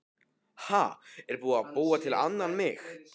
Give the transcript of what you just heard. Ha, er búið að búa til annan mig?